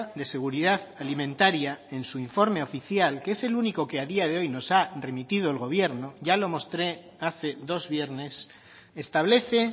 de seguridad alimentaria en su informe oficial que es el único que a día de hoy nos ha remitido el gobierno ya lo mostré hace dos viernes establece